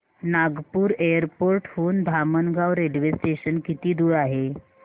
Nagpur airport हून Dhamangaon railway station किती दूर आहे